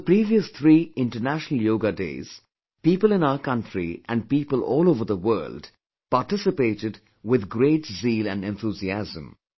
On the previous three International Yoga Days, people in our country and people all over the world participated with great zeal and enthusiasm